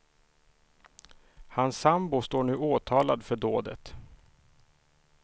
Hans sambo står nu åtalad för dådet.